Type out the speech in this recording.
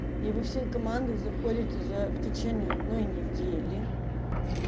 и во всей команды заходите за в течении одной недели